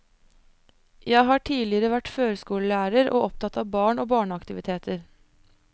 Jeg har tidligere vært førskolelærer, og opptatt av barn og barneaktiviteter.